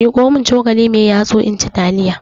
miƙomin cokali mai yatsu inci taliyarnan